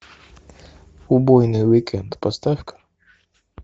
убойный уикенд поставь ка